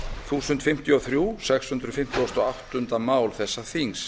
þúsund fimmtíu og þriggja sex hundruð fimmtugasta og áttunda mál þessa þings